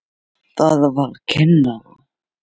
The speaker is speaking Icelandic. Það var kennara